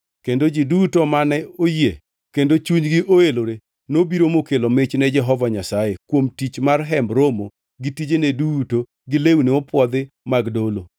kendo ji duto mane oyie kendo chunygi oelore nobiro mokelo mich ni Jehova Nyasaye kuom tich mar Hemb Romo gi tijene duto gi lewni mopwodhi mag dolo.